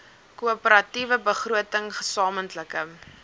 koöperatiewe begroting gesamentlike